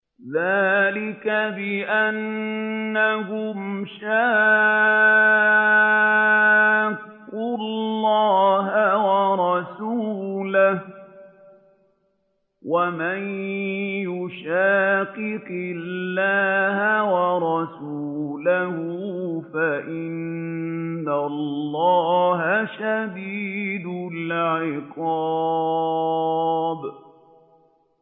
ذَٰلِكَ بِأَنَّهُمْ شَاقُّوا اللَّهَ وَرَسُولَهُ ۚ وَمَن يُشَاقِقِ اللَّهَ وَرَسُولَهُ فَإِنَّ اللَّهَ شَدِيدُ الْعِقَابِ